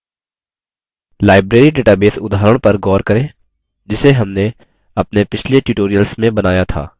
library database उदाहरण पर गौर करें जिसे हमने अपने पिछले tutorials में बनाया था